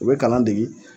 U bɛ kalan dege